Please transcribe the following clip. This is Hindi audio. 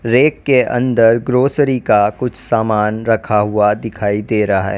रैक के अंदर ग्रॉसरी का कुछ सामान रखा हुआ दिखाई दे रहा है।